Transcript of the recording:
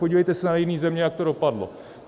Podívejte se na jiné země, jak to dopadlo.